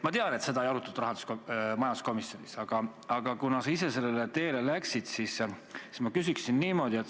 Ma tean, et seda majanduskomisjonis ei arutatud, aga kuna sa ise sellele teele läksid, siis ma küsin niimoodi.